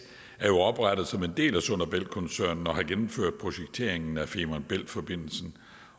er jo oprettet som en del af sund bælt koncernen og har gennemført projekteringen af femern bælt forbindelsen